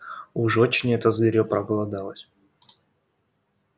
уж очень это зверьё проголодалось